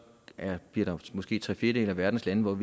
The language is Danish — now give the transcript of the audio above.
bliver der måske tre fjerdedele af verdens lande